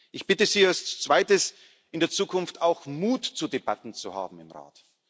Ich bitte Sie als Zweites in der Zukunft auch Mut zu Debatten zu haben im